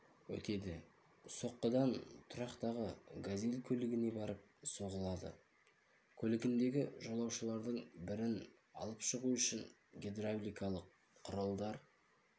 өтеді соққыдан тұрақтағы газель көлігіне барып соғылады көлігіндегі жолаушылардың бірін алып шығу үшін гидравликалық құралдар